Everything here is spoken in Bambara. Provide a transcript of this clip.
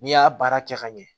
N'i y'a baara kɛ ka ɲɛ